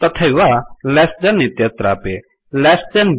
तथैव less than इत्यत्रापि less than ब्